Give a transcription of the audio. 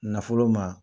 Nafolo ma